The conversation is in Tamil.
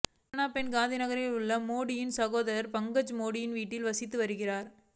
ஹிராபென் காந்திநகரில் உள்ள மோடியின் சகோதரர் பங்கஜ் மோடியின் வீட்டில் வசித்து வருகிறார்